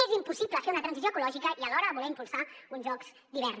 és impossible fer una transició ecològica i alhora voler impulsar un jocs d’hivern